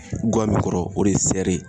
Guwa mun kɔrɔ o de ye sɛri ye.